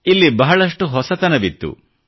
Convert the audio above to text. ಇಲ್ಲಿ ಬಹಳಷ್ಟು ಹೊಸತನವಿತ್ತು